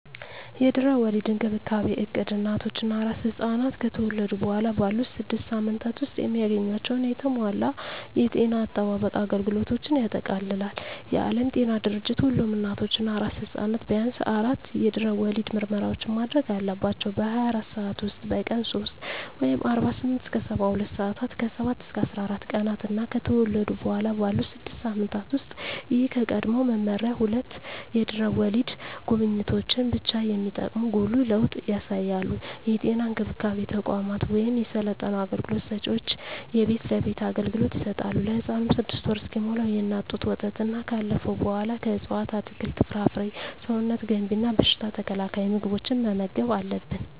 የድህረ ወሊድ እንክብካቤ እቅድ እናቶች እና አራስ ሕፃናት ከተወለዱ በኋላ ባሉት ስድስት ሳምንታት ውስጥ የሚያገኟቸውን የተሟላ የጤና አጠባበቅ አገልግሎቶችን ያጠቃልላል። የዓለም ጤና ድርጅት ሁሉም እናቶች እና አራስ ሕፃናት ቢያንስ አራት የድህረ ወሊድ ምርመራዎችን ማድረግ አለባቸው - በ24 ሰዓት ውስጥ፣ በቀን 3 (48-72 ሰአታት)፣ ከ7-14 ቀናት እና ከተወለዱ በኋላ ባሉት 6 ሳምንታት ውስጥ። ይህ ከቀድሞው መመሪያ ሁለት የድህረ ወሊድ ጉብኝቶችን ብቻ የሚጠቁም ጉልህ ለውጥ ያሳያል። የጤና እንክብካቤ ተቋማት ወይም የሰለጠኑ አገልግሎት ሰጭዎች የቤት ለቤት አገልግሎት ይሰጣሉ። ለህፃኑም 6ወር እስኪሞላው የእናት ጡት ወተትና ካለፈው በኃላ ከእፅዋት አትክልት፣ ፍራፍሬ ሰውነት ገንቢ እና በሽታ ተከላካይ ምግቦችን መመገብ አለብን